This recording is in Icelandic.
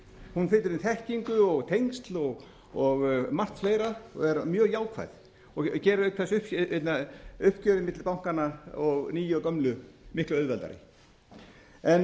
hún flytur inn þekkingu og tengsl og margt fleira og er mjög jákvæð og gerir auk þess upp uppgjörið milli bankanna nýju og gömlu miklu auðveldara en